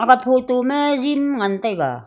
a photo ma gym ngan taiga.